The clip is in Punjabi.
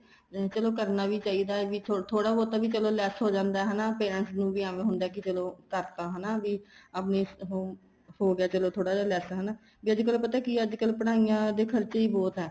ਚਲੋ ਕਰਨਾ ਵੀ ਚਾਹੀਦਾ ਵੀ ਥੋੜਾ ਬਹੁਤਾ ਵੀ ਚਲੋ less ਹੋ ਜਾਂਦਾ ਹਨਾ parents ਨੂੰ ਐਵੇ ਹੁੰਦਾ ਕੀ ਚਲੋ ਕਰਤਾ ਹਨਾ ਵੀ ਆਪਣੀ ਹੋ ਗਿਆ ਥੋੜਾ ਜਾ less ਹਨਾ ਵੀ ਅੱਜਕਲ ਪਤਾ ਕੀ ਇਹ ਅੱਜਕਲ ਪੜ੍ਹਾਈਆਂ ਦੇ ਖਰਚੇ ਬਹੁਤ ਹੈ